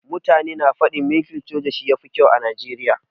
Mutane na faɗin mulkin soja shi ya fi kyau da Najeriya.